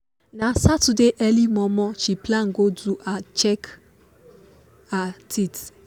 na saturday early momo she plan go do her check her teeth